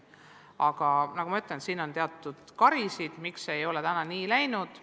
Aga nagu ma ütlesin, meil on teatud karisid, miks ei ole seni nii läinud.